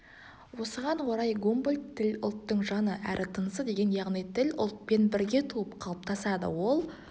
осыған орай гумбольдт тіл ұлттың жаны әрі тынысы деген яғни тіл ұлтпен бірге туып қалыптасады ол